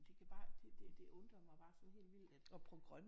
Men det kan bare det undrer mig bare sådan helt vildt at